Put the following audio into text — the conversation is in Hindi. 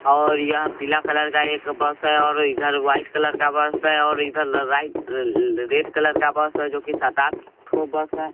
और यह पीला कलर का एक बस है और इधर वाइट कलर का बस है और इधर र राइट ररल रेड कलर का बस है जोकि सात आठ ठो बस है।